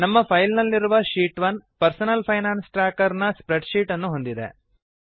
ನಮ್ಮ ಫೈಲ್ ನಲ್ಲಿರುವ sheet 1 personal finance tracker ನ ಸ್ಪ್ರೆಡ್ ಶೀಟ್ ಅನ್ನು ಹೊಂದಿದೆ